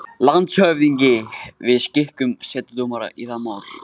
LANDSHÖFÐINGI: Við skikkum setudómara í það mál.